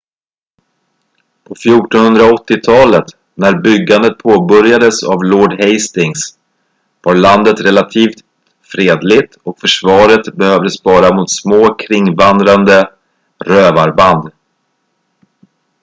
på 1480-talet när byggandet påbörjades av lord hastings var landet relativt fredligt och försvaret behövdes bara mot små kringvandrande rövarband